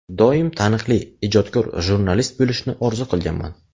Doim taniqli, ijodkor jurnalist bo‘lishni orzu qilganman.